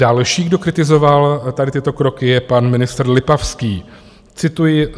Další, kdo kritizoval tady tyto kroky, je pan ministr Lipavský, cituji.